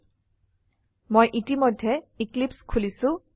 আমি ইতিমধ্যে এক্লিপছে খুলিছো